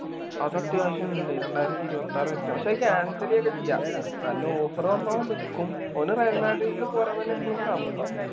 അത് അത്യാവശ്യം ഇണ്ട് രണ്ടായിരത്തി ഇരുപത്താറ്‌ വരേറ്റോ പക്ഷെ cancel ഒക്കെ ചെയ്യാം നല്ല offer വന്നാ ഓൻ നിക്കും ഓന് റയൽ മാഡ്രിഡില് പോരാൻ തന്നെ ഇപ്പളും കമ്പം